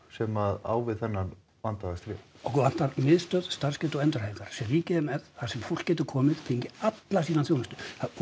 sem á við þennan vanda að stríða okkur vantar miðstöð starfsgetu og endurhæfingar sem ríkið er með þar sem fólk getur komið fengið alla sína þjónustu